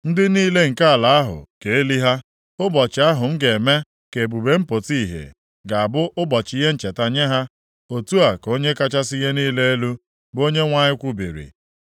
Ndị niile nke ala ahụ ga-eli ha, ụbọchị ahụ m ga-eme ka ebube m pụta ìhè ga-abụ ụbọchị ihe ncheta nye ha. Otu a ka Onye kachasị ihe niile elu, bụ Onyenwe anyị kwubiri.